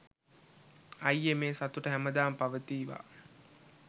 අයියෙ මේ සතුට හැමදාම පවතීවා